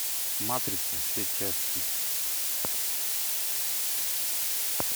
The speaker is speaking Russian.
матрица все части